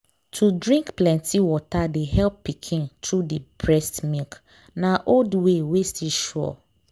to drink plenty water de help pikin through the breast milk. na old way wey still sure